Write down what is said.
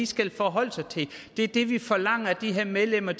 skal forholde sig til det er det vi forlanger at de her medlemmer